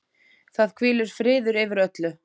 Það hvílir friður yfir öllu.